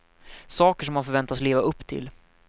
Saker som man förväntas leva upp till.